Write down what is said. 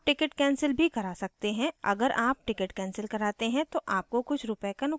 आप tickets cancel भी करा सकते हैं अगर आप tickets cancel कराते हैं तो आपको कुछ रूपए का नुकसान होगा